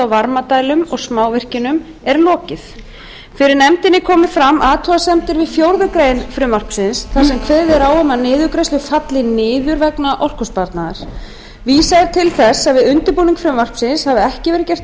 varmadælum og smávirkjunum er lokið fyrir nefndinni komu fram athugasemdir við fjórðu grein frumvarpsins þar sem kveðið er á um að niðurgreiðslur falli niður vegnar orkusparnaðar vísað er til þess að við undirbúning frumvarpsins hafi ekki verið gert